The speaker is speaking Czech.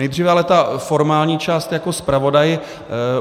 Nejdříve ale ta formální část jako zpravodaj.